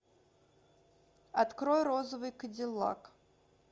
открой розовый кадиллак